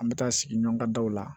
An bɛ taa sigi ɲɔgɔn ka daw la